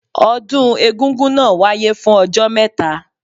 Ọdún egúngún náà wáyé fún ọjọ́ mẹ́ta.